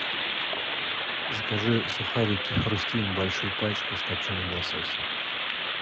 закажи сухарики хрустим большую пачку с копченым лососем